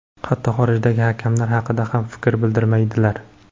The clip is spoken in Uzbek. Hatto xorijdagi hakamlar haqida ham fikr bildirmaydilar.